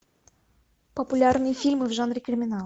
популярные фильмы в жанре криминал